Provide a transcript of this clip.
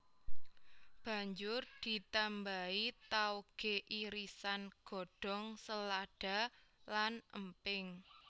Banjur ditambahi taoge irisan godhong selada lan emping